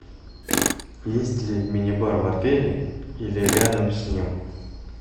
есть ли мини бар в отеле или рядом с ним